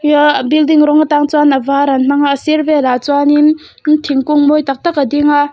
hia a building rawng atang chuan a var an hmang a a sir velah chuanin thingkung mawi tak tak a ding a.